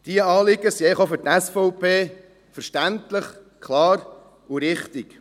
Diese Anliegen sind eigentlich auch für die SVP verständlich, klar und richtig.